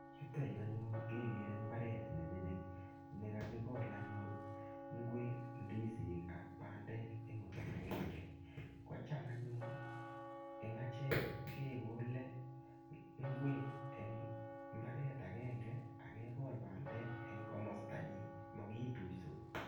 Yuto yu anyun kegere mbaret ne mining ne kakigol anyun ingwek, ndisik ak bandek eng olaagenge. Kocham anyun eng achek kegole ingwek eng imbaret agenge ak kegol bandek eng komastanyin, mokituisot.